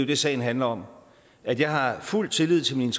det sagen handler om at jeg har fuld tillid til min